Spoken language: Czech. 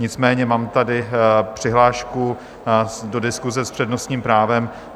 Nicméně mám tady přihlášku do diskuse s přednostním právem.